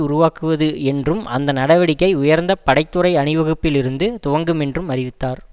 உருவாக்குவது என்றும் அந்த நடவடிக்கை உயர்ந்த படை துறை அணிவகுப்பிலிருந்து துவங்குமென்றும் அறிவித்தார்